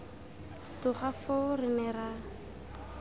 tloga foo re ne ra